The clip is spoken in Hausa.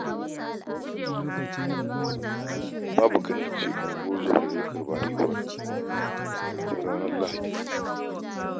Baba Kande ce ungowar zuman da ta karɓi haihuwar da maraicen ranar Lahadi.